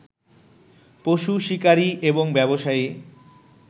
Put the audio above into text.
পশু শিকারী এবং ব্যবসায়ী